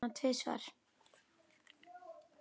Ég er búinn að horfa á hana tvisvar.